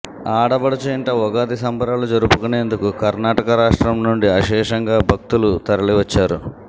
ఆడపడచు ఇంట ఉగాది సంబరాలు జరుపుకునేందుకు కర్నాటక రాష్ట్రం నుండి అశేషంగా భక్తులు తరలివచ్చారు